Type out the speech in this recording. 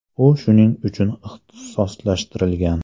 U shuning uchun ixtisoslashtirilgan.